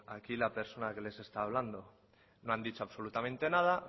aquí la persona que les está hablando no han dicho absolutamente nada